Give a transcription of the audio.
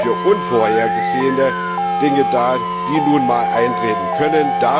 da. Er ist für unvorhergesehene Dinge da, die nun einmal eintreten können.